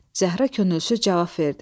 Zəhra könülsüz cavab verdi.